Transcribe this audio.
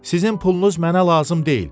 Sizin pulunuz mənə lazım deyil.